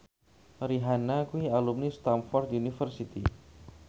Rihanna kuwi alumni Stamford University